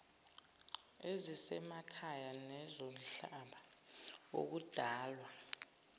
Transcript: ezisemakhaya nezomhlaba ukudalwa